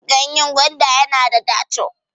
ganyen gwanda yana da daco